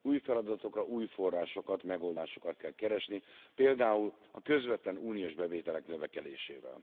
Új feladatokra új forrásokat, megoldásokat kell keresni, például a közvetlen uniós bevételek növekedésével.